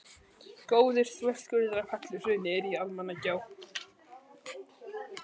Góður þverskurður af helluhrauni er í Almannagjá.